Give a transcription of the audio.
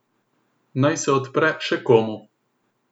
Naj se odpre še komu.